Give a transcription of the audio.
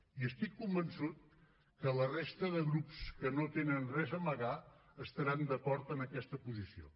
i estic convençut que la resta de grups que no tenen res a amagar estaran d’acord amb aquesta posició